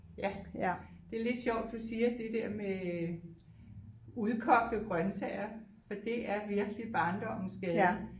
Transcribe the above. Ja det er lidt sjovt du siger det der med udkogte grøntsager for det er virkelig barndommens gade